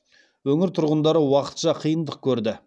өңір тұрғындары уақытша қиындық көрді